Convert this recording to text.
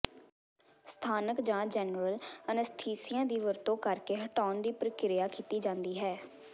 ਸਥਾਨਕ ਜਾਂ general anaesthesia ਦੀ ਵਰਤੋਂ ਕਰਕੇ ਹਟਾਉਣ ਦੀ ਪ੍ਰਕਿਰਿਆ ਕੀਤੀ ਜਾਂਦੀ ਹੈ